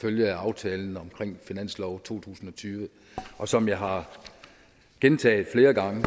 følge af aftalen omkring finansloven for to tusind og tyve og som jeg har gentaget flere gange